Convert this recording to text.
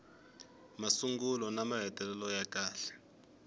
masungulo na mahetelelo ya kahle